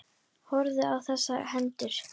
Horfðum á þessar hendur.